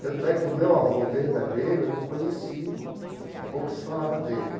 Tanto é que o meu avô verdadeiro eu não conheci e pouco se falava dele.